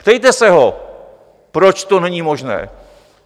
Ptejte se ho, proč to není možné.